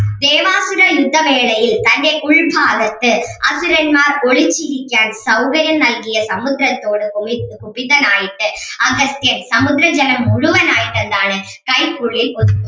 ദേവാസുര യുദ്ധ വേളയിൽ തൻ്റെ ഉൾഭാഗത്ത് അസുരന്മാർ ഒളിച്ചിരിക്കാൻ സൗകര്യം നൽകിയ സമുദ്രത്തോട് കൊളി ക്ഷുഭിതനായിട്ട് അഗസ്ത്യൻ സമുദ്രജലം മുഴുവൻ ആയിട്ട് എന്താണ് കൈക്കുള്ളിൽ ഒതുക്കി